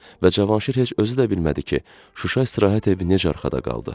Və Cavanşir heç özü də bilmədi ki, Şuşa istirahət evi necə arxada qaldı.